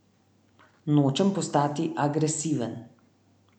Nočem postati agresiven.